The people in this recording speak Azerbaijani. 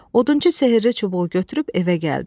Odunçu sehri çubuğu götürüb evə gəldi.